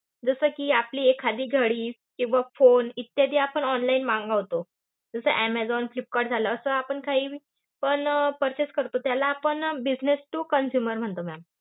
जस कि आपली एखादी घडी किंवा phone इत्यादी आपण online मागवतो. जस ऍमेझॉन फ्लिपकार्ट झालं असं आपण काहीपण purchase करतो. त्याला आपण business to consumer म्हणतो ma'am.